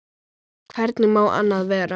Hvernig má annað vera?